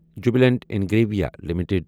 Jubilant Ingrevia limited